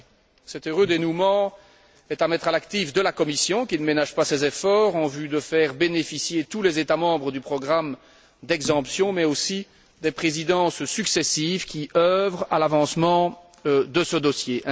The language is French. Cet heureux dénouement est à mettre à l'actif de la Commission qui ne ménage pas ses efforts en vue de faire bénéficier tous les États membres du programme d'exemption, mais aussi des Présidences successives qui œuvrent à l'avancement de ce dossier.